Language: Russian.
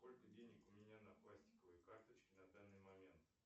сколько денег у меня на пластиковой карточке на данный момент